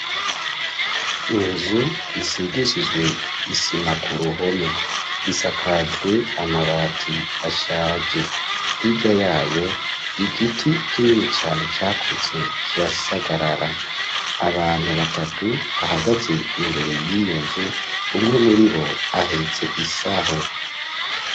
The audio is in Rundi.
Inzu, isigishijwe isima, ku ruhome isakajwe amabati ashaje hirya yayo, igiti kinini cane, cakuze kirasagarara, abantu batatu, bahagaze imbere y'iyo nzu, umwe muri bo, ahetse isaho.